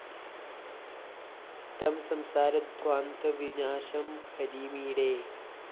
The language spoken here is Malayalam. സ്തം സംസാരധ്വാന്ത വിനാശം ഹരിമീഡേ